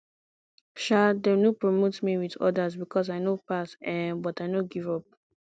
um dem no promote me wit odas because i no pass um but i no give up